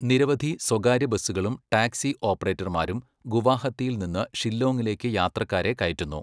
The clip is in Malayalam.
നിരവധി സ്വകാര്യ ബസുകളും ടാക്സി ഓപ്പറേറ്റർമാരും ഗുവാഹത്തിയിൽ നിന്ന് ഷില്ലോങ്ങിലേക്ക് യാത്രക്കാരെ കയറ്റുന്നു.